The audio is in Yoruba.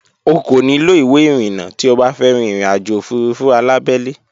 O kò nílò ìwé ìrìnnà tí o bá fẹ́ rín ìrìnàjò òfurufú alábẹ́lé